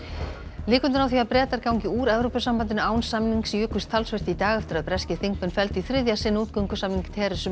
líkurnar á því að Bretar gangi úr Evrópusambandinu án samnings jukust talsvert í dag eftir að breskir þingmenn felldu í þriðja sinn útgöngusamning